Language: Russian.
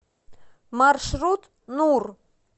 маршрут нур